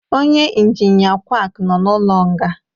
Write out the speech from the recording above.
onye injinia quaki nọ n'ụlọ nga